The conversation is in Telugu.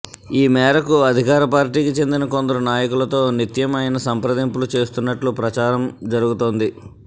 ఈ మేరకు అధికార పార్టీకి చెందిన కొందరు నాయకులతో నిత్యం ఆయన సంప్రదింపులు చేస్తున్నట్టు ప్రచారం జరుగుతోంది